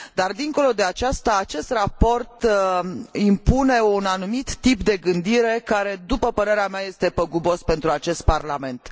Dar, dincolo de aceasta, acest raport impune un anumit tip de gândire, care, după părerea mea, este păgubos pentru acest Parlament.